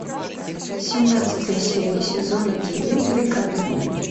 семнадцатая серия сезона девять бригада